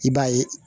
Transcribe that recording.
I b'a ye